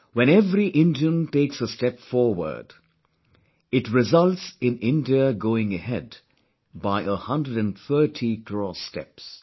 When every Indian takes a step forward, it results in India going ahead by a 130 crore steps